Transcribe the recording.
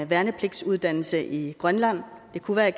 værnepligtsuddannelse i grønland det kunne være i